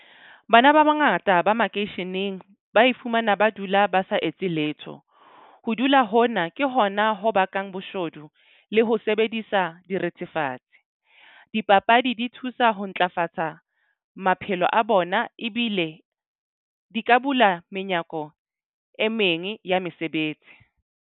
Bana ba bangata ba makeisheneng ba ifumana ba dula ba sa etse letho. Ho dula hona ke hona ho bakang boshodu le ho sebedisa direthefatsi. Dipapadi di thusa ho ntlafatsa maphelo a bona ebile di ka bula menyako e meng ya mesebetsi.